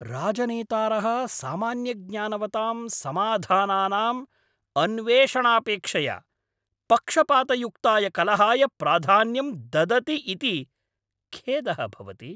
राजनेतारः सामान्यज्ञानवतां समाधानानाम् अन्वेषणापेक्षया पक्षपातयुक्ताय कलहाय प्राधान्यं ददति इति खेदः भवति।